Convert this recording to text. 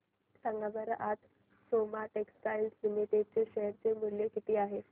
सांगा बरं आज सोमा टेक्सटाइल लिमिटेड चे शेअर चे मूल्य किती आहे